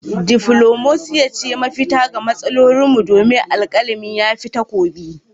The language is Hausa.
Diflomasiya ce mafita ga matsalolinmu domin alkalami ya fi takobi.